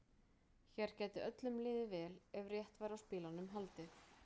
Hér gæti öllum liðið vel ef rétt væri á spilunum haldið.